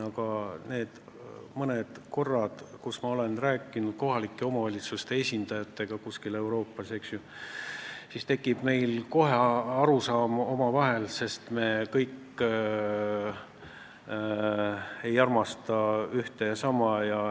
Aga nendel mõnel korral, kui ma hakkasin kuskil Euroopas kohalike omavalitsuste esindajatega rääkima, saime kohe üksteisest aru, sest me kõik ei armasta ühte ja sama.